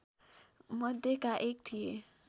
मध्येका एक थिए